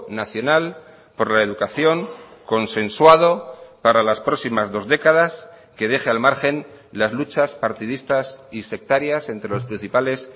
nacional por la educación consensuado para las próximas dos décadas que deje al margen las luchas partidistas y sectarias entre los principales